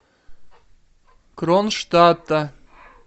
кронштадта